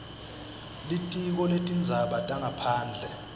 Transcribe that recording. litiko letindzaba tangaphandle